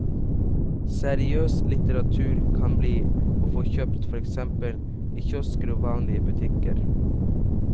Seriøs litteratur kan bli å få kjøpt for eksempel i kiosker og vanlige butikker.